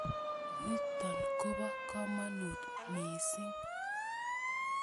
Nitok kopo kamanut missing'.